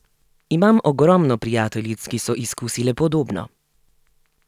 Imam ogromno prijateljic, ki so izkusile podobno.